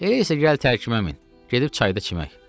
“Elə isə gəl tərkimə min, gedib çayda çimək.”